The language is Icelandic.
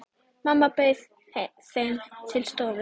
Mamma bauð þeim til stofu.